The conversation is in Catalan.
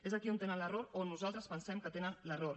és aquí on tenen l’error o on nosaltres pensem que tenen l’error